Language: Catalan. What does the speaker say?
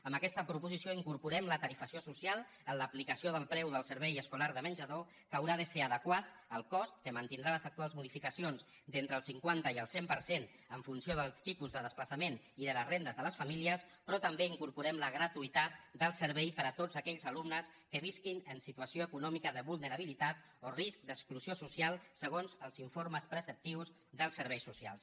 en aquesta proposició incorporem la tarifació social en l’aplicació del preu del servei escolar de menjador que haurà de ser adequat al cost que mantindrà les actuals modificacions d’entre el cinquanta i el cent per cent en funció del tipus de desplaçaments i de les rendes de les famílies però també hi incorporem la gratuïtat del servei per a tots aquells alumnes que visquin en situació econòmica de vulnerabilitat o risc d’exclusió social segons els informes preceptius dels serveis socials